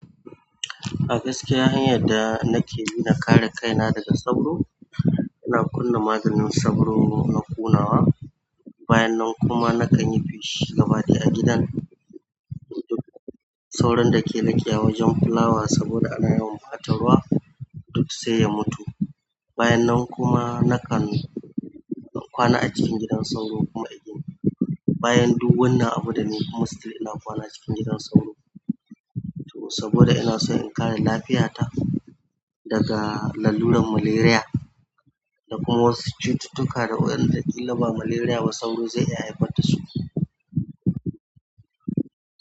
A gaskiya hanyar da nake bi dan akare kaina kare kaina daga sauro, ina kunna maganin sauro na kunnuwa. Bayan nan kuma nakan yi feshi gabaɗaya a gidan. Sauron da ke leƙewa a wajen fulawa saboda ana yawan ɓata ruwa duk sai ya mutu. Bayan nan kuma nakan kwana a cikin gidan sauro kuma a gini. Bayan duk wannan abuda ne kuma still ina kwana cikin gidan sauro saboda ina so in kare lafiyata daga laluran malaria da kuma wasu cututtuka da wa ƴanda in ba malaria ba sauro zai iya haifar da su.